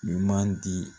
Ɲuman di